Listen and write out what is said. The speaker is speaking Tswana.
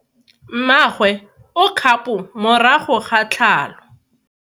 Mmagwe o kgapo morago ga tlhalo.